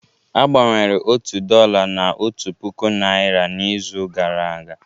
A gbanwere otu dollar na otu puku naira n'izu gara aga